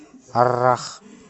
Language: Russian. аррах